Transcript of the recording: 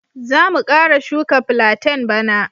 Za mu kara shuka platain bana.